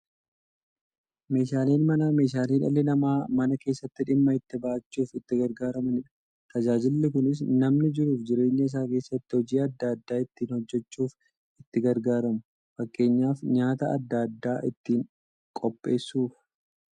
Meeshaaleen Manaa meeshaalee dhalli namaa Mana keessatti dhimma itti ba'achuuf itti gargaaramaniidha. Tajaajilli kunis, namni jiruuf jireenya isaa keessatti hojii adda adda ittiin hojjachuuf itti gargaaramu. Fakkeenyaf, nyaata adda addaa ittiin qopheessuuf.